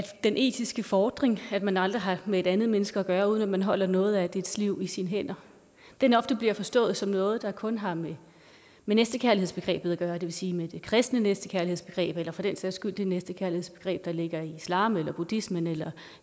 den etiske fordring at man aldrig har med et andet menneske at gøre uden at man holder noget af dets liv i sine hænder det er nok det bliver forstået som noget der kun har med næstekærlighedsbegrebet at gøre det vil sige med det kristne næstekærlighedsbegreb eller for den sags skyld det næstekærlighedsbegreb der ligger i islam eller i buddhismen eller